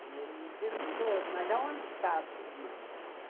Aí ele perguntou, mas onde está a sua irmã, então?